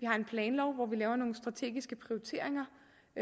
har en planlov hvor vi laver nogle strategiske prioriteringer